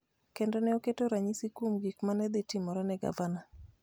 kendo ne oketo ranyisi kuom gik ma ne dhi timore ne gavana.